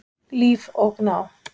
Líf og Gná.